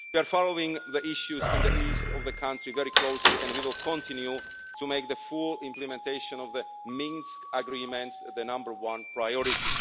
We are following the issues in the east of the country very closely and we will continue to make the full implementation of the Minsk Agreements the number one priority.